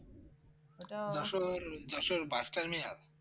Jessore Jessore bus terminal